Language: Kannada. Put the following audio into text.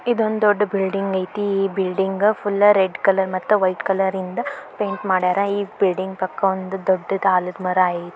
ಇದೊಂದ್ ದೊಡ್ ಬಿಲ್ಡಿಂಗ್ ಐತಿ ಈ ಬಿಲ್ಡಿಂಗ ಫುಲ್ಲ ರೆಡ್ ಕಲರ್ ಮತ್ತ ವೈಟ್ ಕಲರಿಂದ ಪೈಂಟ್ ಮಾಡ್ಯಾರ ಈ ಬಿಲ್ಡಿಂಗ್ ಪಕ್ಕ ಒಂದು ದೊಡ್ದುದ್ ಆಲದ ಮರ ಐತಿ.